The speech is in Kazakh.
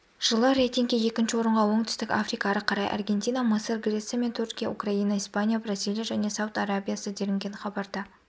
жылы рейтинге екінші орынға оңтүстік африка ары қарай аргентина мысыр греция мен түркия украина испания бразилия және сауд арабиясы делінген хабарда